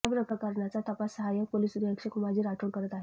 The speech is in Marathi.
याप्रकरणाचा तपास सहायक पोलीस निरीक्षक उमाजी राठोड करत आहेत